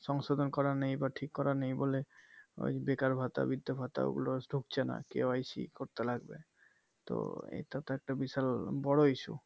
সংশোধন করা নেই বা ঠিক করা নেই বলে ওই বেকার ভাতা বির্ধ ভাতা ওগুলো ঢুকছে না KYC করতে লাগবে তো এটা তো একটা বিশাল বোরো issue